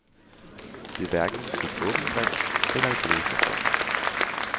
Det er hverken et åbent brev eller et læserbrev.